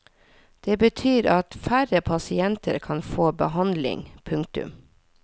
Det betyr at færre pasienter kan få behandling. punktum